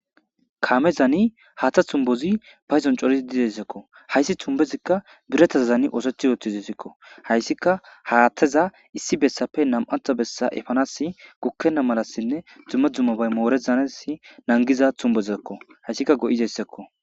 kaame zaani haaththa tumbozi payzon corizi didessekko hayssi tumbezikka biretaza zani oosothi yootizesikko hayssika haathteza issi bessappe nam7atha bessa efanasi gukkena malassinne dzumme dzummabay moorezanesi nangiza tumbezakko hayssika go7izessekko